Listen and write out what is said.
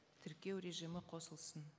тіркеу режимі қосылсын